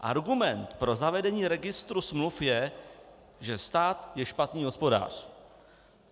Argument pro zavedení registru smluv je, že stát je špatný hospodář.